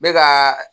N bɛ ka